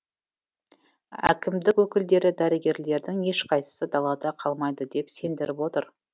әкімдік өкілдері дәрігерлердің ешқайсысы далада қалмайды деп сендіріп отыр